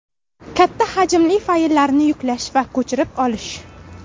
Katta hajmli fayllarni yuklash va ko‘chirib olish .